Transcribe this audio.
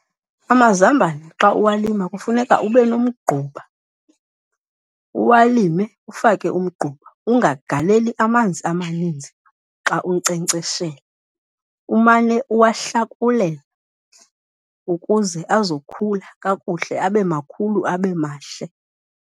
Amazambane xa uwalima kufuneka ube nomgquba, uwalime ufake umgquba, ungagaleli amanzi amaninzi xa unkcenkceshela. Umane uwahlakulela ukuze azokhula kakuhle, abe makhulu abe mahle.